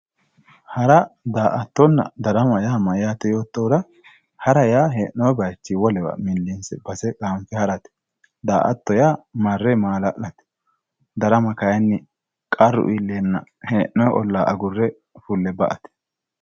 Hara daa"attonna darama mayyaate yoottohura hara hee'noyi baychii millinse base qaanfe harate daa"atto yaa marre maala'late darama kayinni qarru iilleenna hee'noyi ollaa agurre fulle ba"ate